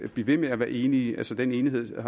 blive ved med at være enige altså den enighed